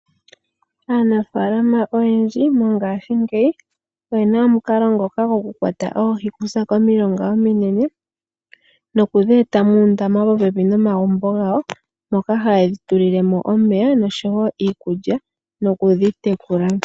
Aanafaalama oyendji mongashingeyi oye na omukalo gwokukwata oohi okuza komilonga ominene nokudhi eta muundama popepi nomagumbo gawo moka hayedhi tulile mo omeya nosho wo iikulya